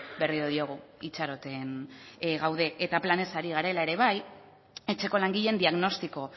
berriro diogu itxaroten gaude eta planez ari garela ere bai etxeko langileen diagnostiko